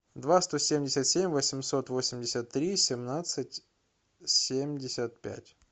два сто семьдесят семь восемьсот восемьдесят три семнадцать семьдесят пять